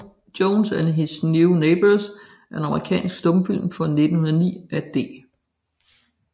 Jones and His New Neighbors er en amerikansk stumfilm fra 1909 af D